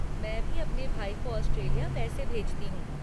मैं भी अपने भाई को ऑस्ट्रेलिया पैसे भेजती हूँ।